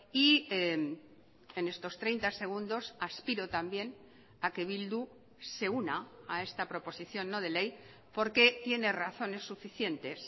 y en estos treinta segundos aspiro también a que bildu se una a esta proposición no de ley porque tiene razones suficientes